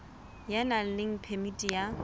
ya nang le phemiti ya